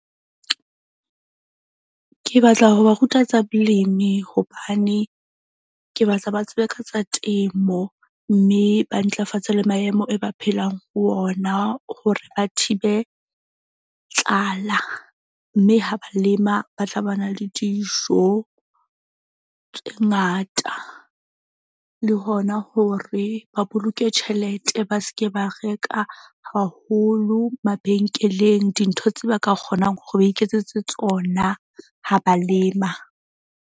Ke batla ho ba ruta tsa bolemi hobane ke batla ba tsebe ka tsa temo. Mme ba ntlafatse le maemo e ba phelang ho ona hore a thibe tlala. Mme ha ba lema, ba tla ba na le dijo tse ngata le hona hore ba boloke tjhelete. Ba ske ba reka haholo mabenkeleng dintho tse ba ka kgonang hore ba iketsetse tsona ha ba lema.